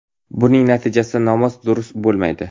Buning natijasida namoz durust bo‘lmaydi.